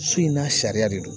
So in n'a sariya de don